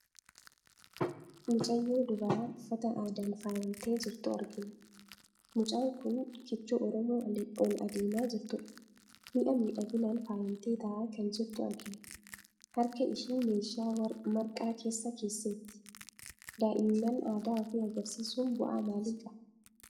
Mucayyoo dubaraa uffata aadaan faayamtee jirtu argina. Mucaan kun kichuu Oromoo ol adeemaa jirtudha. Mi'a miidhaginaan faayamtee taa'aa kan jirtu argina. Harka ishii meeshaa marqaa keessa keesseetti. Daa'imnan aadaa ofii agarsiisuun bu'aa maalii qaba?